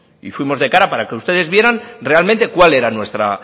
y fuimos de cara para que ustedes vieran realmente cuál era nuestra